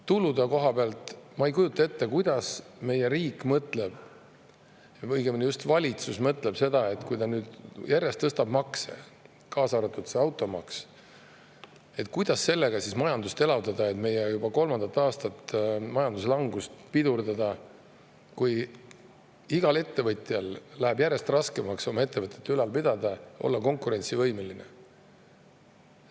Tulude koha pealt – ma ei kujuta ette, mida meie riik mõtleb või õigemini valitsus mõtleb, et kui ta nüüd järjest tõstab makse selle automaksu, siis kuidas saab sellega majandust elavdada, meie juba kolmandat aastat kestnud majanduslangust pidurdada, kui igal ettevõtjal läheb järjest raskemaks oma ettevõtet ülal pidada, olla konkurentsivõimeline.